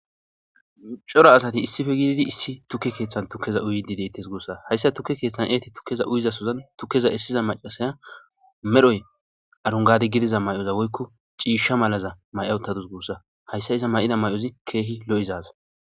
coro asati issife gididi issi tukke keeththan tukkeza uydi deytes guussa hayssa tukke keeththan eeti tukkeza uyizasozan tukkeza essiza macasaya medhoy arungadi gidiza may7oza woykko ciisha malaza may7awuttadus guussa hayssa iza may7ida may7ozi keehi lo7izaz